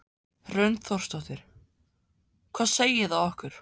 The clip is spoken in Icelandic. Hrund Þórsdóttir: Hvað segir það okkur?